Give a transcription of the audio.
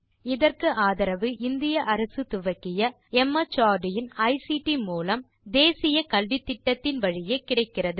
இதற்கு ஆதரவு இந்திய அரசு துவக்கிய மார்ட் இன் ஐசிடி மூலம் தேசிய கல்வித்திட்டத்தின் வழியே கிடைக்கிறது